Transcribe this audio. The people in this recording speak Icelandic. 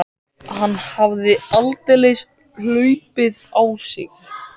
Hann hafði aldeilis hlaupið á sig.